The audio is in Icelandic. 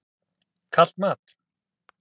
Kalt mat.